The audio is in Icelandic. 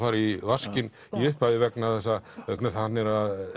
fara í vaskinn í upphafi vegna þess að hann er